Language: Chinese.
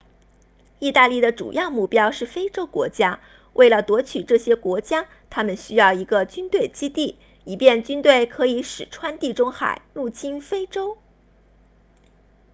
意大利的主要目标是非洲国家为了夺取这些国家他们需要一个军队基地以便军队可以驶穿地中海入侵非洲